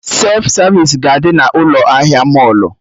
Sef savisi ga-adị na ụlọ ahịa mọlụ